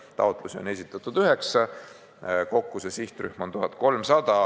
Taotlusi on esitatud 9, kokku aga on selles sihtrühmas 1300 last.